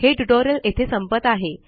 हे ट्युटोरियल येथे संपत आहे